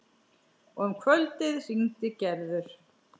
Og um kvöldið hringdi Gerður.